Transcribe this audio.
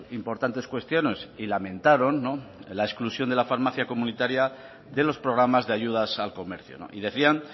importantes cuestiones y lamentaron la exclusión de la farmacia comunitaria de los programas de ayudas al comercio y decían